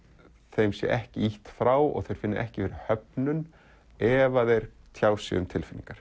þeim sé ekki ýtt frá og þeir finni ekki fyrir höfnun ef að þeir tjá sig um tilfinningar